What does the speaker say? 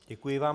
Děkuji vám.